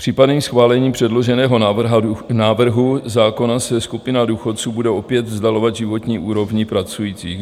Případným schválením předloženého návrhu zákona se skupina důchodců bude opět vzdalovat životní úrovni pracujících.